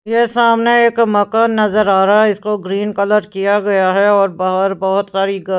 ये सामने एक मकान नजर आ रहा है इसको ग्रीन कलर किया गया है और बाहर बहुत सारी--